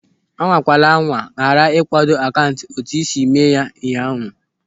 Anwakwala anwa ghara igwado akaụntụ etu ị siri mee ụnyaahụ!